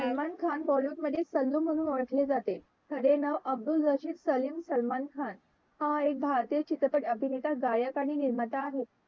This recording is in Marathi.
सलमान खान bollywood मधे सल्लू म्हणून ओळखले जाते खरे नाव अब्द्दुल रफिक सलीम सलमान खान हा एक भारतीय अभिनेता गायक आणि निर्माता आहे.